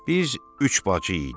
Biz üç bacı idik.